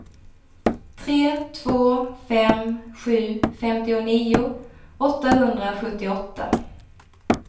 tre två fem sju femtionio åttahundrasjuttioåtta